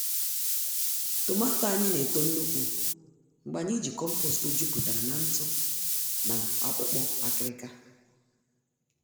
Tomààto anyị na-eto nnukwu mgbe anyị ji compost jupụtara na ntụ na akpụkpọ akịrịka.